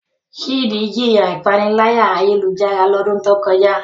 Chidi jiya ipanilaya-ayelujara lodun to koja